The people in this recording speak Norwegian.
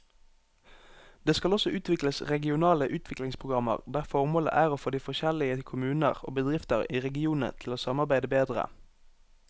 Det skal også utvikles regionale utviklingsprogrammer der formålet er å få de forskjellige kommuner og bedrifter i regionene til å samarbeide bedre.